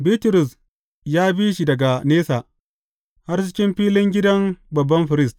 Bitrus ya bi shi daga nesa, har cikin filin gidan babban firist.